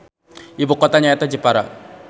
Ibukotana nyaeta Jepara.